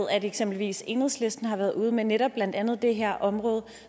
at eksempelvis enhedslisten har været ude med netop blandt andet det her område